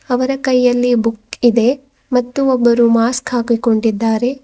ಅವರ ಕೈಯಲ್ಲಿ ಬುಕ್ ಇದೆ ಮತ್ತು ಒಬ್ಬರು ಮಾಸ್ಕ್ ಹಾಕಿಕೊಂಡಿದ್ದಾರೆ.